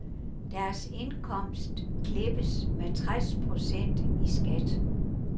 Deres indkomst klippes med tres procent i skat.